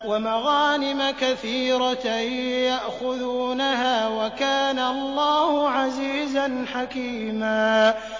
وَمَغَانِمَ كَثِيرَةً يَأْخُذُونَهَا ۗ وَكَانَ اللَّهُ عَزِيزًا حَكِيمًا